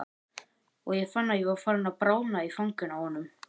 Og ég fann að ég var farin að bráðna í fanginu á honum.